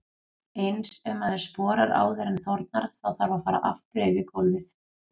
Eins ef maður sporar áður en þornar, þá þarf að fara aftur yfir gólfið.